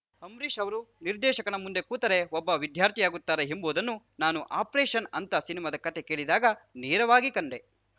ಅಂಬರೀಷ್‌ ಅವರು ನಿರ್ದೇಶಕನ ಮುಂದೆ ಕೂತರೆ ಒಬ್ಬ ವಿದ್ಯಾರ್ಥಿಯಾಗುತ್ತಾರೆ ಎಂಬುದನ್ನು ನಾನು ಅಪರೇಷನ್‌ ಅಂತ ಸಿನಿಮಾದ ಕತೆ ಹೇಳಿದಾಗ ನೇರವಾಗಿ ಕಂಡೆ